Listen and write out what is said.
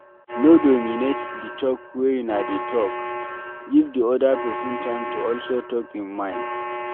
No dominate di talk wey una dey talk, give di oda person time to also talk im mind